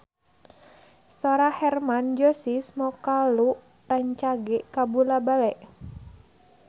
Sora Hermann Josis Mokalu rancage kabula-bale